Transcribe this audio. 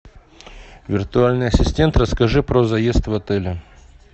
виртуальный ассистент расскажи про заезд в отеле